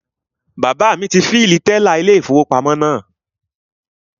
Bàbá ti ilé-ìfowópamọ́ náà